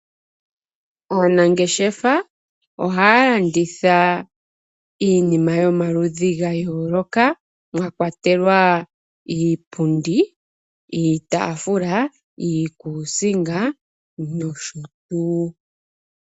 Aanangeshefa ohaya landitha iinima yomaludhi ga yooloka mwakwatelwa iipundi, iitafuula, iikuusinga nosho tuu.